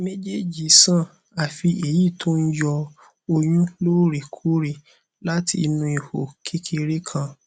méjèèjì san àfí èyí tó ń yọ ọyún lóòrè kóòrè láti inú ihò kékeré kan